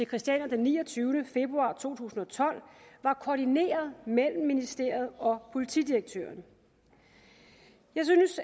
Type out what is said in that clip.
christiania den niogtyvende februar to tusind og tolv var koordineret mellem ministeriet og politidirektøren jeg synes